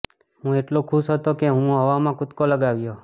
હું એટલો ખુશ હતો કે હું હવામાં કૂદકો લગાવ્યો